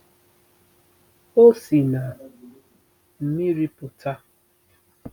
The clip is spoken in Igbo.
o si na mmiri pụta.